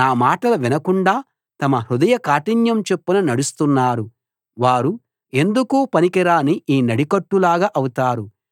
నా మాటలు వినకుండా తమ హృదయ కాఠిన్యం చొప్పున నడుస్తున్నారు వారు ఎందుకూ పనికిరాని ఈ నడికట్టులాగా అవుతారు